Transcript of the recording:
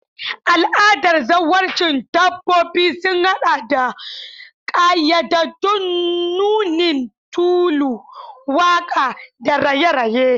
Al'adar zawarcin dabbobi sun haɗa da ƙayyadaddun nunin tulu, waƙa, da raye-raye.